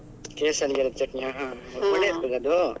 ಕೇಸಲ್ಲಿಗೆ ಚಟ್ನಿಯ ಹ ಹ ಒಳ್ಳೇ ಇರ್ತದ ಅದು?